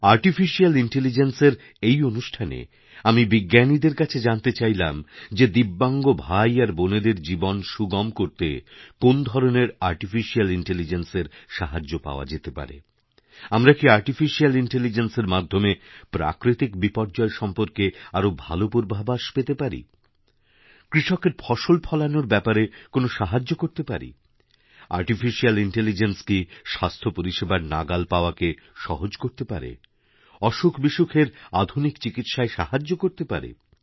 artificial ইন্টেলিজেন্সের এই অনুষ্ঠানে আমি বিজ্ঞানীদের কাছে জানতে চাইলাম যেদিব্যাঙ্গ ভাই আর বোনেদের জীবন সুগম করতে কোন্ ধরনের আর্টিফিশিয়াল ইন্টেলিজেন্সেরসাহায্য পাওয়া যেতে পারে আমরা কি আর্টিফিশিয়াল ইন্টেলিজেন্সের মাধ্যমে প্রাকৃতিকবিপর্যয় সম্পর্কে আরও ভালো পূর্বাভাস পেতে পারি কৃষকের ফসল ফলানোর ব্যাপারে কোনোসাহায্য করতে পারি আর্টিফিশিয়াল ইন্টেলিজেন্স কি স্বাস্থ্য পরিষেবার নাগালপাওয়াকে সহজ করতে পারে অসুখবিসুখের আধুনিক চিকিৎসায় সাহায্য করতে পারে